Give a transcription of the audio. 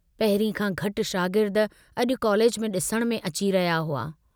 पहिरीं खां घटि शार्गिद अजु कॉलेज में डिसण में अची रहिया हुआ।